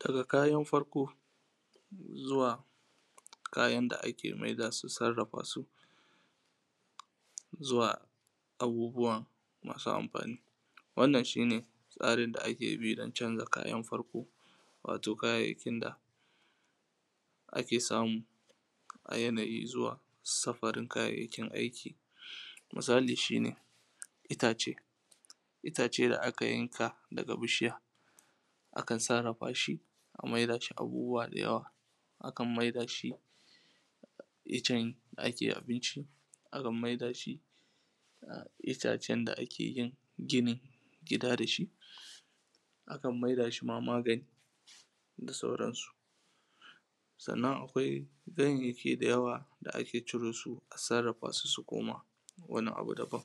daga kayan farko zuwa kayan da ake maida su sarrafa su zuwa abubuwan masu amfani wannan shi ne tsarin da ake bi don canza kayan farko wato kayayyakin da ake samu a yanayi zuwa safarin kayayyakin aiki misali shi ne itace itace da aka yanka daga bishiya akan sarrafa shi a maida shi abubuwa da yawa akan maida shi iccen da ake abinci akan maida shi itacen da ake yin ginin gida dashi akan maida shi ma magani da sauran su sannan akwai ganyayyaki da yawa da ake ciro su a sarrafa su su koma wani abu daban